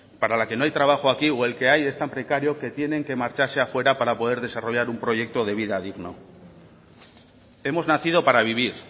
para la que no hay trabajo aquí o el que hay es tan precario que tienen que marcharse afuera para poder desarrollar un proyecto de vida digno hemos nacido para vivir